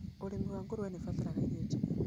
Ũrĩmi wa ngũrũwe nĩ ũbataraga irio njega.